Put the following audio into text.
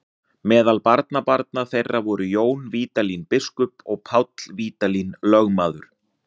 Meðal barnabarna þeirra voru Jón Vídalín biskup og Páll Vídalín lögmaður.